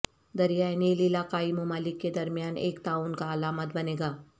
دریائے نیل علاقائی ممالک کے درمیان ایک تعاون کا علامت بنے گا